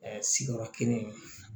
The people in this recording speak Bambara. Ɛɛ sigiyɔrɔ kelen